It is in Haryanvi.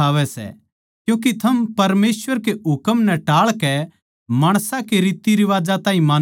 क्यूँके थम परमेसवर कै हुकम नै टाळकै माणसां कै रिवाजां ताहीं मान्नो सो